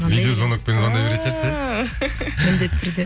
видеозвонокпен звондай бертін шығарсыз иә міндетті түрде